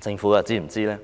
政府又是否知道呢？